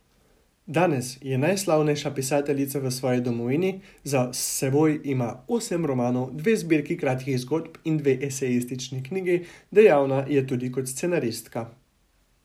Danes je najslavnejša pisateljica v svoji domovini, za seboj ima osem romanov, dve zbirki kratkih zgodb in dve esejistični knjigi, dejavna je tudi kot scenaristka.